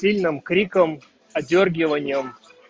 сильным криком одёргиванием